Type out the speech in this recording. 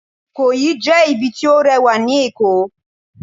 Ikoyi jẹ ibì ti o rewa ní Èko